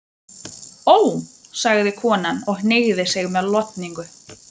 Ó, sagði konan og hneigði sig með lotningu.